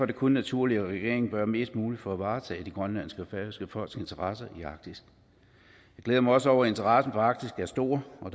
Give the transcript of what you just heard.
det kun naturligt at regeringen gør mest muligt for at varetage det grønlandske og færøske folks interesser i arktis jeg glæder mig også over at interessen for arktis er stor og